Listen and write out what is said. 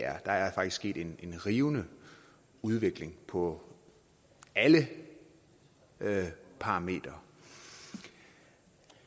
der er faktisk sket en rivende udvikling på alle parametre